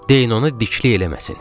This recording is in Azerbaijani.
Deyin ona diklik eləməsin.